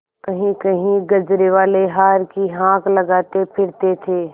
कहींकहीं गजरेवाले हार की हाँक लगाते फिरते थे